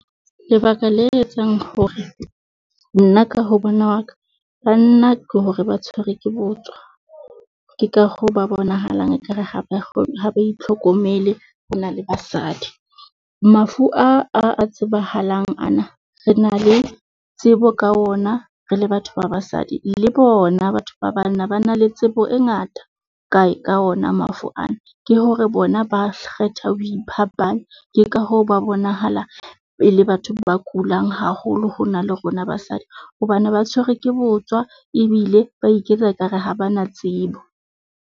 Lebaka le etsang hore nna ka ho bona hwa ka, banna ke hore ba tshwerwe ke botswa. Ke ka hoo ba bonahalang ekare ha ba ha ba itlhokomele ho na le basadi. Mafu a, a tsebahalang ana, re na le tsebo ka ona re le batho ba basadi le bona, batho ba banna ba na le tsebo e ngata kae ka ona mafu ana, ke hore bona ba kgetha ho iphapanya, ke ka hoo ba bonahala e le batho ba kulang haholo ho na le rona basadi. Hobane ba tshwerwe ke botswa ebile ba iketsa ka re ha ba na tsebo.